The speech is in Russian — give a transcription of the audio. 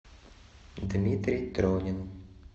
дмитрий тронин